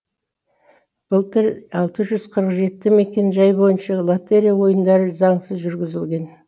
былтыр алты жүз қырық жеті мекенжай бойынша лотерия ойындары заңсыз жүргізілген